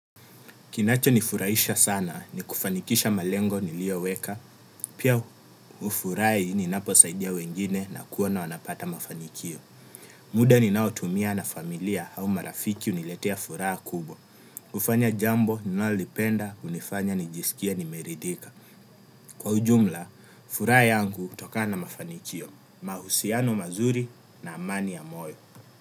Kinacho nifurahisha sana ni kufanikisha malengo nilioweka. Pia ufurai ni naposaidia wengine na kuona wanapata mafanikio. Muda ni nao tumia na familia au marafiki uniletea furaa kubwa. Ufanya jambo, ninalipenda, unifanya, nijisikie, nimeridika. Kwa ujumla, furaha yangu utokana na mafanikio. Mahusiano mazuri na amani ya moyo.